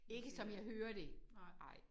Ikke som jeg hører det nej